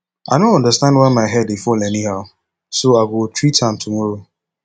i no understand why my hair dey fall anyhow so i go treat am tomorrow